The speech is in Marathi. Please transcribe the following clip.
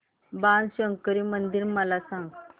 बाणशंकरी मंदिर मला सांग